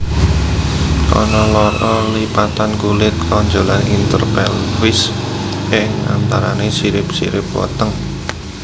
Ana loro lipatan kulit tonjolan interpelvis ing antarané sirip sirip weteng